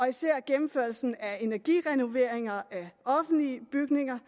især gennemførelsen af energirenoveringer af offentlige bygninger